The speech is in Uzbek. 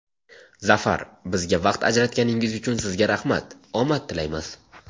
Zafar, bizga vaqt ajratganingiz uchun sizga rahmat, omad tilaymiz!